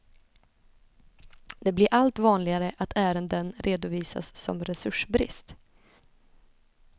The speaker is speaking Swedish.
Det blir allt vanligare att ärenden redovisas som resursbrist.